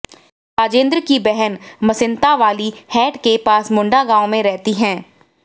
राजेंद्र की बहन मसीतांवाली हैड के पास मुंडा गांव में रहती है